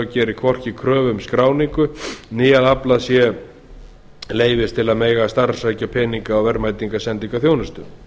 geri hvorki kröfu um skráningu né að aflað sé leyfis til að mega starfrækja peninga og verðmætasendingarþjónustu